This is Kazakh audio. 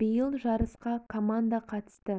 биыл жарысқа команда қатысты